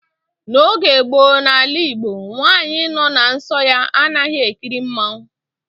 N'oge gboo n'ala igbo, nwaanyị nọ na nsọ ya anaghị ekiri mmanwu